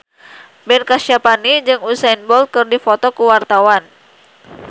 Ben Kasyafani jeung Usain Bolt keur dipoto ku wartawan